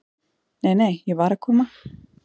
"""Nei, nei, ég var að koma."""